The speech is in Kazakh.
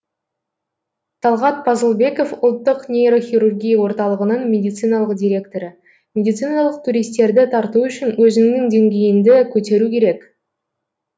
талғат пазылбеков ұлттық нейрохирургия орталығының медициналық директоры медициналық туристерді тарту үшін өзіңнің деңгейіңді көтеру керек